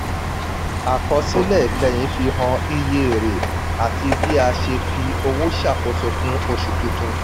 àkọsílẹ̀ ìkẹyìn fihan iye èrè àti bí a ṣe fi owó ṣàkóso fún oṣù tuntun.